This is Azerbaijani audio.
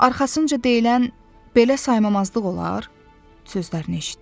Arxasınca deyilən “belə saymamazlıq olar?” sözlərini eşitdi.